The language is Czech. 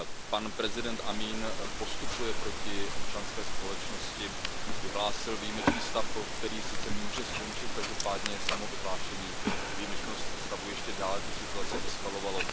Pan prezident Jamín postupuje proti občanské společnosti, vyhlásil výjimečný stav, který sice může skončit, každopádně samo vyhlášení výjimečného stavu ještě dále tu situaci eskalovalo.